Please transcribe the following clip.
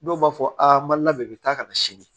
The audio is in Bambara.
Dɔw b'a fɔ a ma labɛn bi taa kana sini